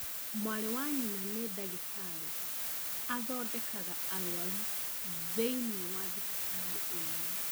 Mwarĩ wa nyina nĩ dagĩtarĩ athondekaga arwaru thĩiniĩ wa thibitarĩ ĩrĩa